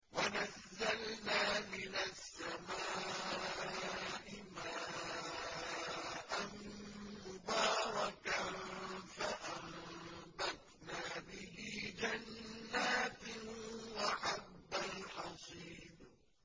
وَنَزَّلْنَا مِنَ السَّمَاءِ مَاءً مُّبَارَكًا فَأَنبَتْنَا بِهِ جَنَّاتٍ وَحَبَّ الْحَصِيدِ